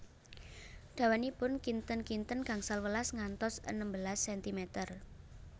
Dawanipun kinten kinten gangsal welas ngantos enem belas sentimer